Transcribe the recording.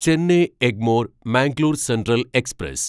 Chennai Egmore Mangalore central express